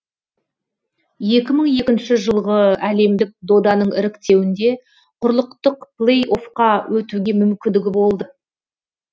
екі мың екінші жылғы әлемдік доданың іріктеуінде құрлықтық плей оффқа өтуге мүмкіндігі болды